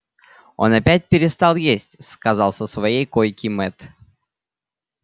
он опять перестал есть сказал со своей койки мэтт